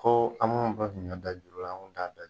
Ko an mu bɛɛ siri ka da juru la an kun t'a da yen